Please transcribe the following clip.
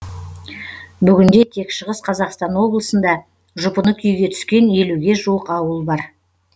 бүгінде тек шығыс қазақстан облысында жұпыны күйге түскен елуге жуық ауыл бар